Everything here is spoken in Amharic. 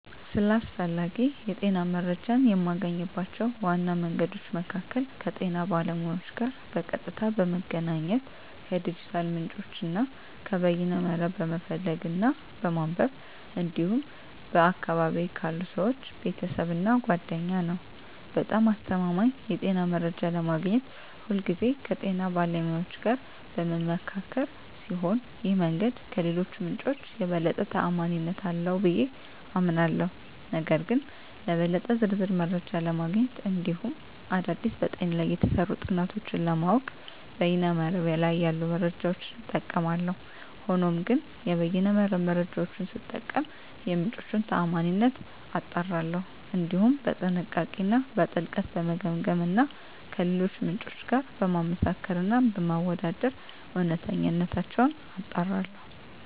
ስለ አስፈላጊ የጤና መረጃን የማገኝባቸው ዋና መንገዶች መካከል ከጤና ባለሙያዎች ጋር በቀጥታ በመገናኘት፣ ከዲጂታል ምንጮች እና ከበይነ መረብ በመፈለግ እና በማንበብ እንዲሁም በአካባቢየ ካሉ ሰወች፣ ቤተሰብ እና ጓደኛ ነዉ። በጣም አስተማማኝ የጤና መረጃ ለማግኘት ሁልጊዜ ከጤና ባለሙያዎች ጋር በምመካከር ሲሆን ይህ መንገድ ከሌሎቹ ምንጮች የበለጠ ተአማኒነት አለው ብየ አምናለሁ። ነገር ግን ለበለጠ ዝርዝር መረጃ ለማግኘት እንዲሁም አዳዲስ በጤና ላይ የተሰሩ ጥናቶችን ለማወቅ በይነ መረብ ላይ ያሉ መረጃዎችን እጠቀማለሁ። ሆኖም ግን የበይነ መረብ መረጃወቹን ስጠቀም የምንጮቹን ታአማኒነት አጣራለሁ፣ እንዲሁም በጥንቃቄ እና በጥልቀት በመገምገም እና ከሌሎች ምንጮች ጋር በማመሳከር እና በማወዳደር እውነተኝነታቸውን አጣራለሁ።